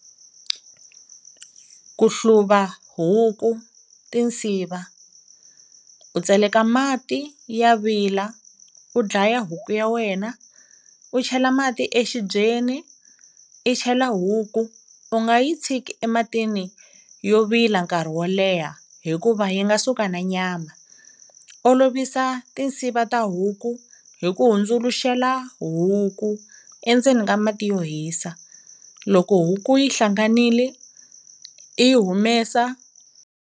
Ku hluva huku tinsiva u tseleka mati ya vila, u dlaya huku ya wena, u chela mati exibyeni, i chela huku u nga yi tshiki ematini yo vila nkarhi wo leha, hikuva yi nga suka na nyama, olovisa tinsiva ta huku hi ku hundzuluxela huku endzeni ka mati yo hisa, loko huku yi hlanganili i yi humesa.